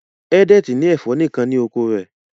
Edet ní ẹfọ nìkàn ní oko rẹ